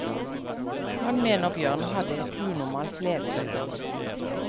Han mener bjørnen hadde et unormalt levesett.